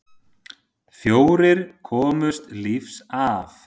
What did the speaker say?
Fjórir komust lífs af.